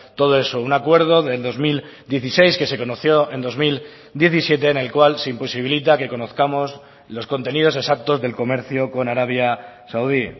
todo eso un acuerdo del dos mil dieciséis que se conoció en dos mil diecisiete en el cual se imposibilita que conozcamos los contenidos exactos del comercio con arabia saudí